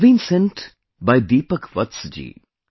It has been sent by Deepak Vats ji